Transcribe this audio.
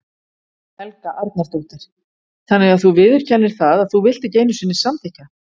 Helga Arnardóttir: Þannig að þú viðurkennir það að þú vilt ekki einu sinni samþykkja?